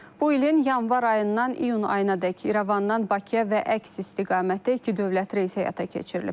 Bu ilin yanvar ayından iyun ayınadək İrəvandan Bakıya və əks istiqamətdə iki dövlət reys həyata keçirilib.